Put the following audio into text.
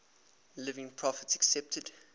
living prophets accepted